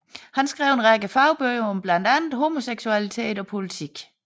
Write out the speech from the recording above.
Han skrev en række fagbøger om blandt andet homoseksualitet og politik